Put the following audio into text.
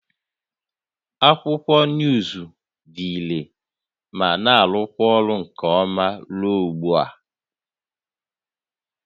Akwụkwọ nuuzu dị irè ma na-arụkwa ọrụ nke ọma ruo ugbu a